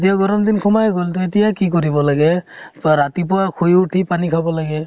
এতিয়া গৰম দিন খোমাই গʼল। এতিয়া কি কৰিব লাগে, বা ৰাতিপুৱা শুই উঠি পানী খাব লাগে ।